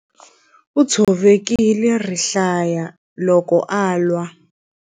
U tshovekile rihlaya loko a lwa.